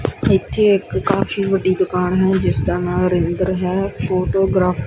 ਇਥੇ ਇਕ ਕਾਫੀ ਵੱਡੀ ਦੁਕਾਨ ਹੈ ਜਿਸਦਾ ਨਾਂ ਰਿੰਦਰ ਹੈ ਫੋਟੋਗਰਾਫੀ --